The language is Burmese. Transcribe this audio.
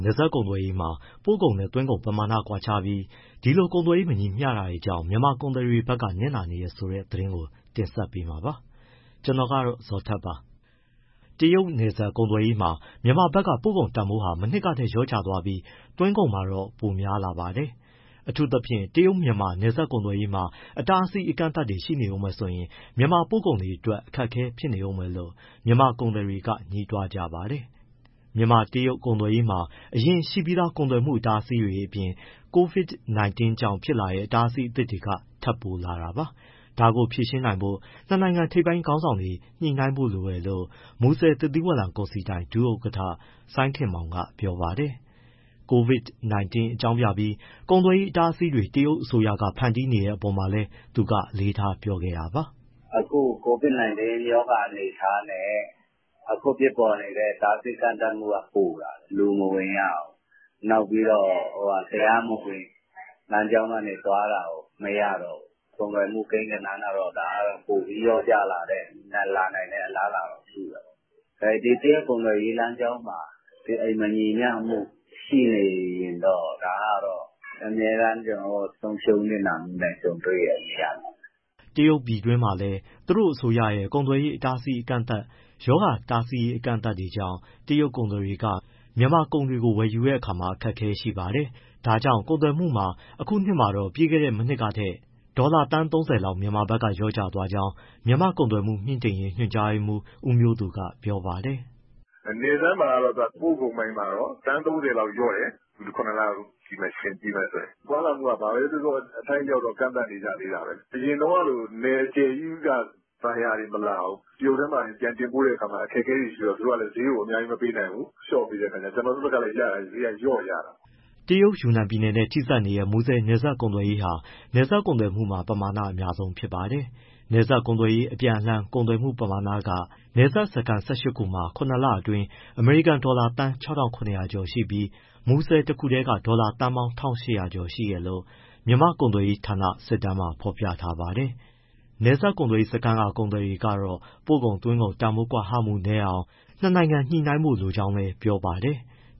နယ်စပ်ကုန်သွယ်ရေးမှာ ပို့ကုန်နဲ့သွင်းကုန်ပမာဏကွာခြားပြီး ဒီလို ကုန်သွယ်ရေး မညီမျှတာကြောင့် မြန်မာကုန်သည်တွေဘက်ကနစ်နာနေတယ်ဆိုတဲ့ သတင်းကို ကိုဇော်ထက် တင်ဆက်ပေးမှာပါ။ တရုတ်နယ်စပ်ကုန်သွယ်ရေးမှာ မြန်မာဘက်က ပို့ကုန်တန်ဖိုးဟာ မနှစ်ကထက် လျော့ကျသွားပြီး၊ သွင်းကုန်မှာတော့ ပိုများလာပါတယ်။ အထူးသဖြင့် တရုတ်- မြန်မာ နယ်စပ်ကုန်သွယ်ရေးမှာ အတားအဆီး အကန့်သတ်တွေဆက်ရှိနေဦးမယ်ဆိုရင် မြန်မာပို့ကုန်အတွက် ခက်ခဲနေဦးမယ်လို့ မြန်မာကုန်သည်တွေက ငြီးတွားကြပါတယ် ။ မြန်မာ- တရုတ် ကုန်သွယ်ရေးမှာ အရင်ရှိပြီးသား ကုန်သွယ်မှုအတားအဆီးတွေအပြင် COVID-19 ကြောင့်ဖြစ်လာတဲ့ အတားအဆီးအသစ်တွေ ထပ်ပိုလာတာပါ။ ဒါကိုဖြေရှင်းနိုင်ဖို့ နှစ်နိုင်ငံထိပ်ပိုင်း ခေါင်းဆောင်တွေ ညှိနှိုင်းဖို့လိုတယ်လို့ မူဆယ်သစ်သီးဝလံကုန်စည်ဒိုင် ဒုဥက္ကဋ္ဌ စိုင်းခင်မောင်က ပြောပါတယ်။ COVID-19 အကြောင်းပြပြီး ကုန်သွယ်ရေး အတားအဆီးတွေ တရုတ်အစိုးရက ဖန်တီးနေတဲ့ အပေါ်မှာလည်း သူကအလေးထား ပြောခဲ့တာပါ။ “ အခု COVID-19 ရောဂါအနေအထားနဲ့ အခုဖြစ်ပေါ်နေတဲ့ အတားအဆီး အကန့်အသတ်ကပိုလာတယ်၊ လူမဝင်ရဘူး။ နောက်ပြီးတော့ တရားမဝင် လမ်းကြောင်းကနေ သွားတာကို မရတော့ဘူး။ ကုန်သွယ်မှု ကိန်းဂဏန်းက ပိုပြီး လျော့ကျလာနိုင်တဲ့ အလားအလာရှိတာပေါ့။ မူဆယ်ကုန်သွယ်ရေးမှာ မညီမျှမှု ရှိနေရင် ဒါကတော့ အမြဲတမ်း ကျနော်တို့ ဆုံးရှုံး နစ်နာမှုနဲ့ ကြုံတွေ့နေရမှာပဲ။” တရုတ်ပြည်တွင်းမှာလည်း သူတို့အစိုးရရဲ့ ကုန်သွယ်ရေးအကန့်အသတ်၊ ရောဂါတားဆီးရေး အကန့်အသတ်တွေကြောင့် တရုတ်ကုန်သည်တွေကမြန်မာကုန်တွေကို ဝယ်ယူဖို့ အခက်အခဲတွေ ရှိလာပါတယ်။ ဒါကြောင့် ကုန်သွယ်မှုမှာ ဒီနှစ်မှာတော့ ပြီးခဲ့တဲ့ မနှစ်ကထက် ဒေါ်လာ သန်း ၃၀ လောက် မြန်မာဘက်က လျော့သွားကြောင်း မြန်မာ့ကုန်သွယ်မှု မြှင့်တင်ရေး ညွှန်ကြားရေးမှူး ဦးမျိုးသူက ပြောပါတယ်။ “နယ်စပ်မှာ ပို့ကုန်ပိုင်းက သန်း ၃၀ လောက်လျော့တယ်၊ ပြီးခဲ့တဲ့ ၇ လ ယှဉ်ကြည့်မယ်ဆိုရင်၊ သွားလာမှုက အထိုက်အလျောက်ကန့်သတ် နေကြသေးတာပဲ အရင်တုန်းကလို နယ်အကျယ်ကြီးက buyer တွေမလာဘူး။ တရုတ်ထဲမှာတင် ပြန်တင်ပို့တဲ့ အခါ အခက်အခဲတွေရှိတော့ သူတို့က ဈေးကို အများကြီး မပေးနိုင်ဘူး။လျော့ပေးတဲ့အခါကျတော့ ကျနော်တို့ဘက်ကလည်း ဈေးက လျော့ရတာပေါ့။” တရုတ်ယူနန်ပြည်နယ်နဲ့ ထိစပ်နေတဲ့ မူဆယ်နယ်စပ်ကုန်သွယ်ရေးဟာ နယ်စပ်ကုန်သွယ်မှုမှာ ပမာဏ အများဆုံးပါ။ နယ်စပ်ကုန်သွယ်ရေး အပြန်အလှန်ကုန်သွယ်မှုပမာဏက နယ်စပ်စခန်း ၁၈ ခုမှာ၇လ အတွင်း အမေရိကန်ဒေါ်လာသန်း ၆၇၀၀ ကျော်ရှိပြီး၊ မူဆယ်တခုတည်းက ဒေါ်လာသန်းပေါင်း ၁၈၀၀ ကျော်ရှိတယ်လို့ မြန်မာကုန်သွယ်ရေးဌာန စစ်တမ်းမှာ ဖော်ပြထားပါတယ်။ နယ်စပ်ကုန်သွယ်ရေးစခန်းက ကုန်သည်တွေ ကတော့ ပို့ကုန်၊ သွင်းကုန် တန်ဖိုး ကွာဟမှု နည်းအောင် နှစ်နိုင်ငံ ညှိနှိုင်းဖို့ လိုလားကြောင်း ပြောပါတယ်။